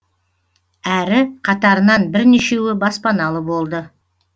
әрі қатарынан бірнешеуі баспаналы болды